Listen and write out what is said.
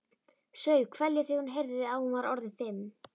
Saup hveljur þegar hún heyrði að hún var orðin fimm.